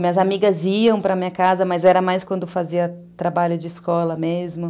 Minhas amigas iam para a minha casa, mas era mais quando fazia trabalho de escola mesmo.